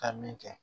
Ka min kɛ